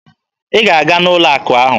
Ị ga-aga n'ụlọ akụ ahụ!